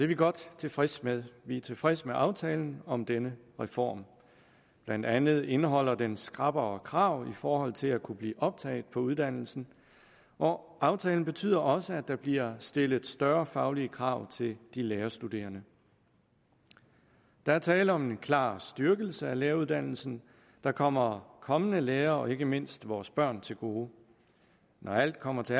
vi godt tilfredse med vi er tilfredse med aftalen om denne reform blandt andet indeholder den skrappere krav i forhold til at kunne blive optaget på uddannelsen og aftalen betyder også at der bliver stillet større faglige krav til de lærerstuderende der er tale om en klar styrkelse af læreruddannelsen der kommer kommende lærere og ikke mindst vores børn til gode når alt kommer til